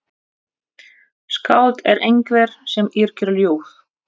Skáld er einhver sem yrkir ljóð.